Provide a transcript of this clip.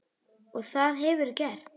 Og það hefurðu gert.